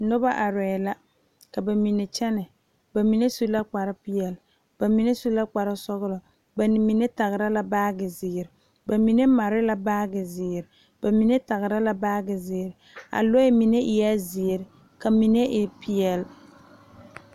Noba are lɛ ka bamine kyɛne bamine su la kpare peɛle, bamine su la kpare sɔglɔ bamine tagre la baagi ziiri bamine pare la baagi ziiri bamine tagre la baagi ziiri lɔɛ mine eɛ ziiri ka mine e peɛle.